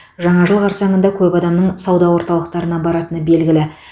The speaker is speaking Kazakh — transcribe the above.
жаңа жыл қарсаңында көп адамның сауда орталықтарына баратыны белгілі